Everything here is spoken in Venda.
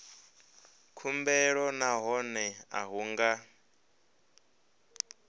khumbelo nahone a hu nga